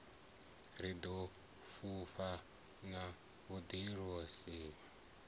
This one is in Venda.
ro ḓi vhofha na vhuḓiimiseli